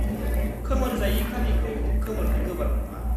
-खोमोरजायि खालिखौ खोमोरनो गोब्राब नङा।